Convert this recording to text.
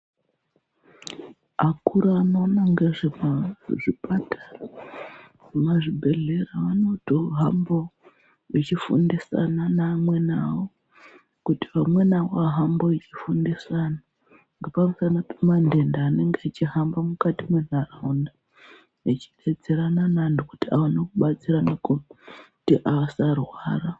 Akuru anoona ngezvemuzvipatara nemuzvibhedhleya anotohambawo echifundisana neamweni awo kuti amweni awo ahambe echifundisa antu ngepamusana pemandenda anenge echihamba mukati mwentaraunda vechidetserana nevantu kuti awane kubatsirana kuti asarwara.